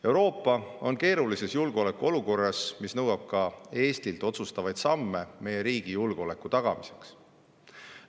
Euroopa on keerulises julgeolekuolukorras, mis nõuab ka Eestilt otsustavaid samme meie riigi julgeoleku tagamiseks.